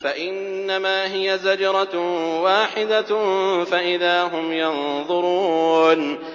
فَإِنَّمَا هِيَ زَجْرَةٌ وَاحِدَةٌ فَإِذَا هُمْ يَنظُرُونَ